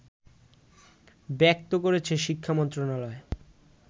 ব্যক্ত করেছে শিক্ষামন্ত্রণালয়